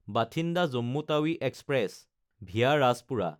Bathinda-Jammu Tawi express (VA Rajpura)